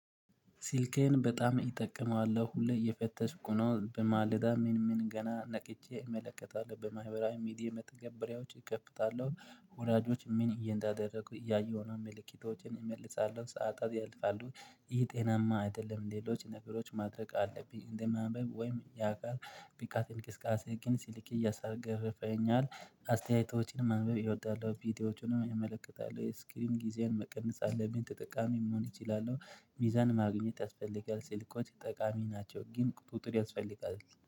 ስልኬን በጣም እጠቀመዋለሁ ሁሌ እየፈተሽ ነው በማለዳ ምን ምን ገና ነቅቼ እመለከታለሁ በማህበራዊ ሚዲያ መተገብሪያዎች እከፍታለሁ ወላጆች ምን እየንዳደረጉ እያየሁ ነው መልእክቶችን እመልሳለሁ ሰዓታት ያልፋሉ። ይሄ ጤናማ አይደለም ሌሎች ነገሮች ማድረግ አለብኝ እንደማንበብ ወይም ያውቃል ብቃትን ቅስቀሳ ግን ሲልክ እያሳገረፈኝ አስተያየቶችን ማንበብ እወዳለሁ። ቪዲዮዎችን እመለከታለሁ ስክሪን ጊዜያን መቀነስ አለብኝ ተጠቃሚ መሆን እችላለሁ። ሚዛን ማግኘት ያስፈልጋል ስልኮች ጠቃሚ ናቸው ግን ቁጥጥር ያስፈልጋል